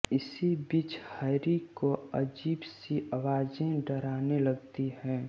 इसी बीच हैरी को अजीब सी आवाज़ें डाराने लगती हैं